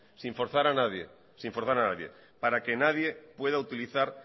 sin forzar a nadie para que nadie pueda utilizar